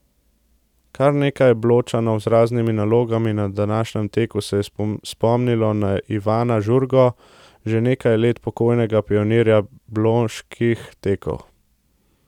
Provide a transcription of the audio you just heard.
Kar nekaj Bločanov z raznimi nalogami na današnjem teku se je spomnilo na Ivana Žurgo, že nekaj let pokojnega pionirja Bloških tekov.